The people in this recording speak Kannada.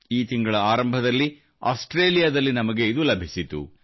ಈ ತಿಂಗಳ ಆರಂಭದಲ್ಲಿ ಆಸ್ಟ್ರೇಲಿಯಾದಲ್ಲಿ ನಮಗೆ ಇದು ಲಭಿಸಿತು